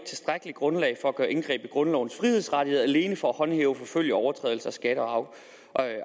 tilstrækkeligt grundlag for at gøre indgreb i grundlovens frihedsrettigheder alene for at håndhæve og forfølge overtrædelser af skatte og